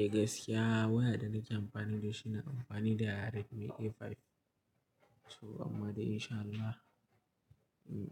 Eh gaskiya waya da nake amfani da shi na amfani da Redmi A5. To amma dai in sha Allah,